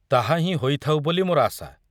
ତାହା ହିଁ ହୋଇଥାଉ ବୋଲି ମୋର ଆଶା।